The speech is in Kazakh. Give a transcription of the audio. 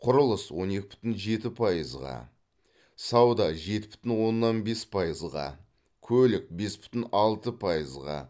құрылыс он екі бүтін жеті пайызға сауда жеті бүтін оннан бес пайызға көлік бес бүтін алты пайызға